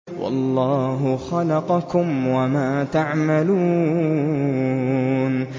وَاللَّهُ خَلَقَكُمْ وَمَا تَعْمَلُونَ